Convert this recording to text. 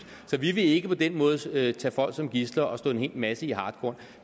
så vi vil ikke på den måde tage tage folk som gidsler og slå en hel masse i hartkorn